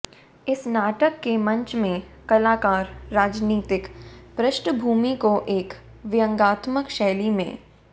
इस नाटक के मंचन में कलाकार राजनीतिक पृष्ठभूमि को एक व्यंग्यात्मक शैली में